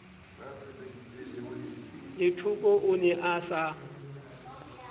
lethoko o ne a sa